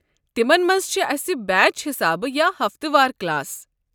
تمن منٛز چھِ اسہِ بیچ حسابہٕ یا ہفتہٕ وار کلاس ۔